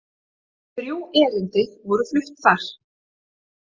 Þrjú erindi voru flutt þar